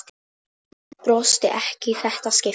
Brosti ekki í þetta skipti.